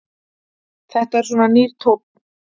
Þetta er svona nýr tónn.